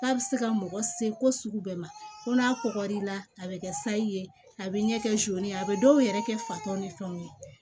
K'a bɛ se ka mɔgɔ se ko sugu bɛɛ ma ko n'a kɔgɔr'i la a bɛ kɛ sayi a bɛ ɲɛ kɛ ye a bɛ dɔw yɛrɛ kɛ fatan ni fɛnw ye